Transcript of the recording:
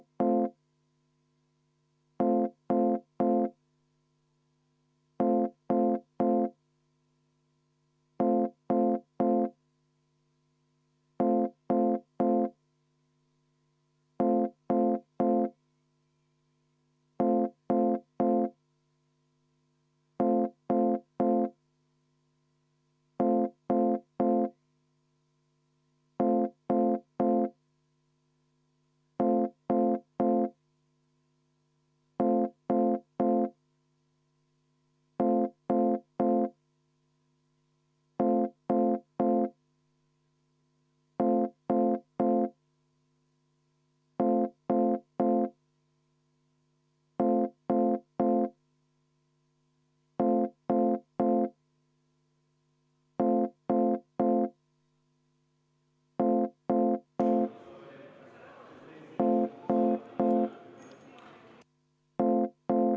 V a h e a e g